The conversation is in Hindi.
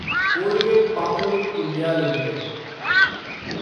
Colgate Palmolive India limited